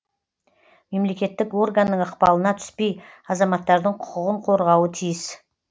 мемлекеттік органның ықпалына түспей азаматтардың құқығын қорғауы тиіс